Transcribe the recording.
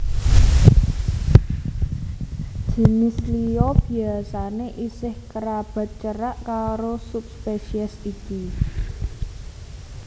Jinis liya biasané isih kerabat cerak karo subspesies iki